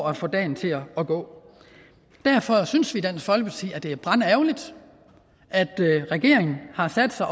at få dagen til at gå derfor synes vi i dansk folkeparti at det er brandærgerligt at regeringen har sat sig